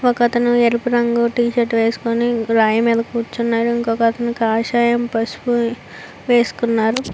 ఒకతను ఎరుపు రంగు టీ షర్ట్ వేసుకొని రాయి మీద కూర్చున్నాడు. కాషాయం పసుపు వేసుకున్నారు.